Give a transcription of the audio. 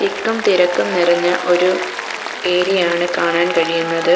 തിക്കും തിരക്കും നിറഞ്ഞ ഒരു ഏരിയയാണ് കാണാൻ കഴിയുന്നത്.